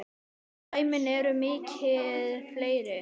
Dæmin eru mikið fleiri.